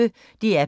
DR P1